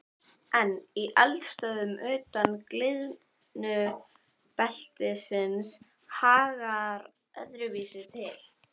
En í eldstöðvum utan gliðnunarbeltisins hagar öðruvísi til.